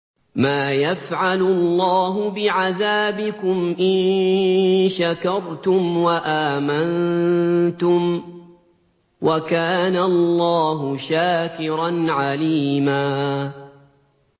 مَّا يَفْعَلُ اللَّهُ بِعَذَابِكُمْ إِن شَكَرْتُمْ وَآمَنتُمْ ۚ وَكَانَ اللَّهُ شَاكِرًا عَلِيمًا